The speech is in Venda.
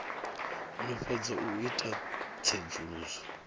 no fhedza u ita tsedzuluso